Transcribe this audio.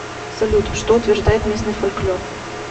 салют что утверждает местный фольклор